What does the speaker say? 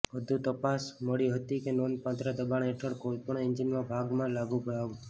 વધુ તપાસ મળી હતી કે નોંધપાત્ર દબાણ હેઠળ કોઈપણ એન્જિનના ભાગમાં લાગુ લાભ